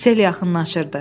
Sel yaxınlaşırdı.